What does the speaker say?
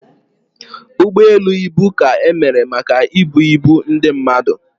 Ụgbọ elu ibu ka emere maka ibu ibu ndị mmadụ